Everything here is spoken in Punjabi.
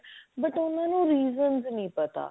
but ਉਹਨਾਂ ਨੂੰ reasons ਨਹੀ ਪਤਾ